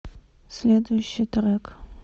следующий трек